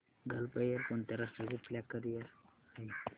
gulf Air कोणत्या राष्ट्राची flag carrier आहे